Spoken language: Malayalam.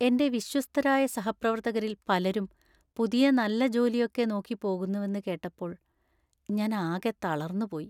എന്‍റെ വിശ്വസ്തരായ സഹപ്രവർത്തകരിൽ പലരും പുതിയ നല്ല ജോലിയൊക്കെ നോക്കി പോകുന്നുവെന്ന് കേട്ടപ്പോൾ ഞാൻ ആകെ തളർന്നുപോയി.